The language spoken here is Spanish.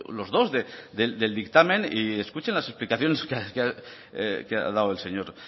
los dos del dictamen y escuchen las explicaciones que ha dado el señor